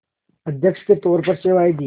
अध्यक्ष के तौर पर सेवाएं दीं